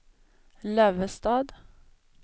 Lövestad